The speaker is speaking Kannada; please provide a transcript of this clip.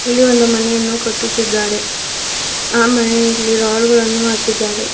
ಇಲ್ಲಿ ಒಂದು ಮನೆಯನ್ನು ಕಟ್ಟುತ್ತಿದ್ದಾರೆ ಆ ಮನೆಯಲ್ಲಿ ರಾಡ್ ಗಳನ್ನು ಹಾಕಿದ್ದಾರೆ.